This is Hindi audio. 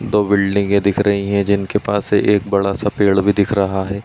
दो बिल्डिंगे दिख रहीं हैं जिनके पास से एक बड़ा सा पेड़ भी दिख रहा है।